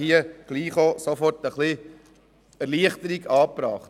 Das würde sofort zu einer Erleichterung führen.